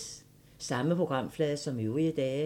Samme programflade som øvrige dage